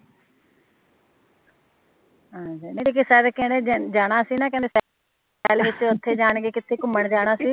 ਜਾਣਾ ਸੀ ਨਾ ਕਹਿੰਦੇ ਉੱਥੇ ਜਾਣਗੇ ਕਿੱਥੇ ਘੁੰਮਣ ਜਾਣਾ ਸੀ